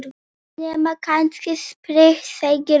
Nema kannski spritt, segir hún.